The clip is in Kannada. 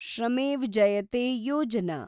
ಶ್ರಮೇವ್ ಜಯತೆ ಯೋಜನಾ